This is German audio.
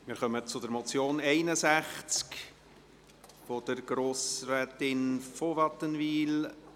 Wir kommen unter dem Traktandum 61 zur Motion von Grossrätin von Wattenwyl: